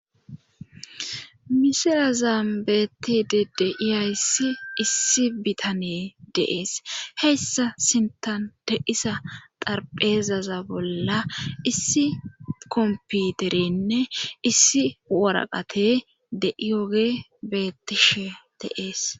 Misira zaambeetti dedeiyayssi issi bitanee deees heyssa sinta de'isa xarpheezaza bolla issi komputerenne issi woraqate deiyoge beettishe deees.